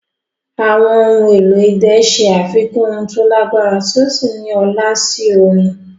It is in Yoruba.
Àwọn ohun èlò idẹ ṣe àfikún ohùn tó lágbára tí ó sì ní ọlá sí orin.